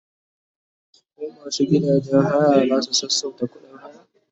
koh masu gidajen haya zasu sassauta ƙuɗin haya?